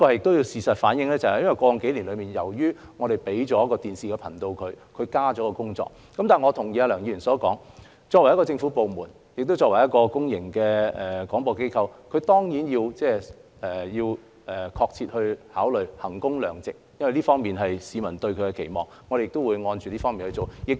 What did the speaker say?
當然，事實也反映，過去數年由於我們給了港台一個電視頻道，因此工作量增加了，但我同意梁議員所說，作為一個政府部門及公共廣播機構，港台當然要確切考慮衡工量值的問題，因為這是市民對港台的期望，我們亦會按照此方面處理。